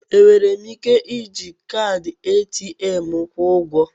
Enwere m ike iji kaadị ATM m kwụọ ụgwọ?